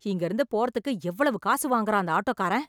இங்க இருந்து போறதுக்கு எவ்வளவு காசு வாங்குறான் அந்த ஆட்டோக்காரென்.